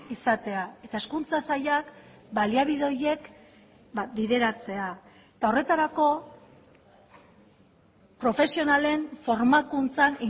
izatea eta hezkuntza sailak baliabide horiek bideratzea eta horretarako profesionalen formakuntzan